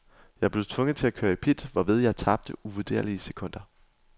Jeg blev tvunget til at køre i pit, hvorved jeg tabte uvurderlige sekunder.